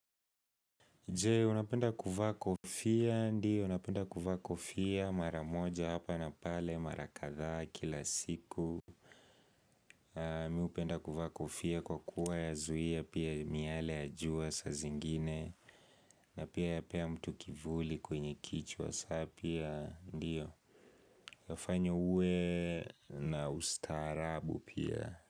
Jee, unapenda kuvaa kofia? Ndiyo, napenda kuvaa kofia maramoja hapa na pale marakadhaa kila siku Mi hupenda kuvaa kofia kwa kuwa ya zuia pia miale ya jua saa zingine na pia yapea mtu kivuli kwenye kichwa sa pia ndiyo yafanya uwe na ustaarabu pia.